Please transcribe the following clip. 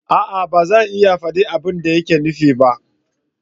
A'a! ba zan iya faɗi abin da yake nufi ba